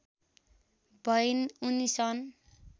भइन् उनी सन्